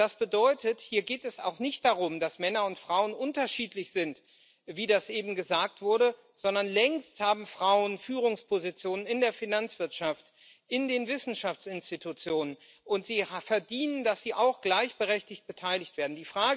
Und hier geht es auch nicht darum, dass Männer und Frauen unterschiedlich sind, wie das eben gesagt wurde, vielmehr haben Frauen längst Führungspositionen in der Finanzwirtschaft, in den Wissenschaftsinstitutionen, und sie verdienen, dass sie auch gleichberechtigt beteiligt werden.